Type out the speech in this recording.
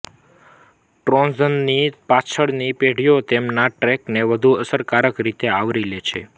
ટ્રોઝનની પાછળની પેઢીઓ તેમના ટ્રેકને વધુ અસરકારક રીતે આવરી લે છે